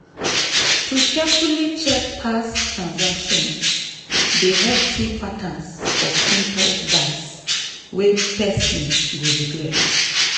to carefully check past transactions dey help see patterns of impulse buys wey person go regret.